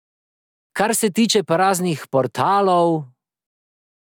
Kar se tiče pa raznih portalov ...